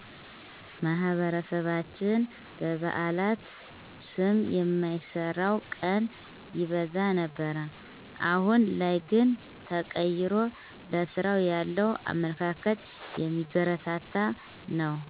ማህበረሰባችን በበአላት ስም የማይሰራው ቀን ይበዛ ነበር አሁን ላይ ግን ተቀይሮ ለስራ ያለው አመለካከት የሚበረታታ ነው